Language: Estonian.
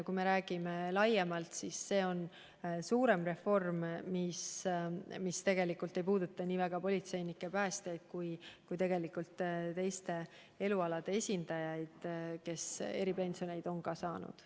Kui räägime laiemalt, siis see on suurem reform, mis tegelikult ei puuduta mitte niivõrd politseinikke ja päästjaid, kuivõrd teiste elualade esindajaid, kes eripensioni on saanud.